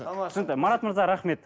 түсінікті марат мырза рахмет